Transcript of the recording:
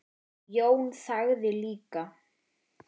Jón þagði líka.